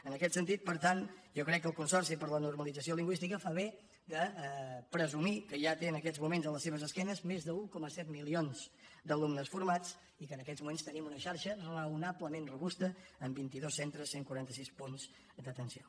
en aquest sentit per tant jo crec que el consorci per a la normalització lingüística fa bé de presumir que ja té en aquests moments a la seva esquena més d’un coma set milions d’alumnes formats i que en aquests moments tenim una xarxa raonablement robusta amb vint dos centres cent i quaranta sis punts d’atenció